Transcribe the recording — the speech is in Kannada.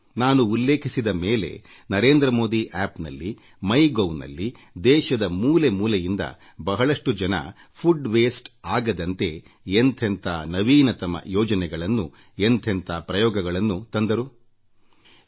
ನಾನು ಈ ವಿಷಯ ಪ್ರಸ್ತಾಪಿಸಿದ ಮೇಲೆ ನರೇಂದ್ರ ಮೋದಿ ಆಪ್ನಲ್ಲಿ ಮೈ ಗೌ ನಲ್ಲಿ ದೇಶದ ಮೂಲೆ ಮೂಲೆಗಳಿಂದ ಸಾಕಷ್ಟು ಮಂದಿ ಆಹಾರ ವ್ಯರ್ಥಆಗದಂತೆ ಹಲವು ನಾವಿನ್ಯಮಯ ಯೋಜನೆಗಳನ್ನು ಪ್ರಯೋಗಗಳನ್ನು ಜಾರಿಗೆ ತಂದಿರುವುದಾಗಿ ತಿಳಿಸಿದ್ದಾರೆ